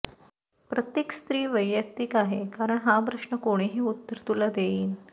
प्रत्येक स्त्री वैयक्तिक आहे कारण हा प्रश्न कोणीही उत्तर तुला देईन